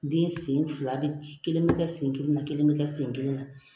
Den sen fila bi ci kelen mi kɛ sen kelen na, kelen mi kɛ sen kelen na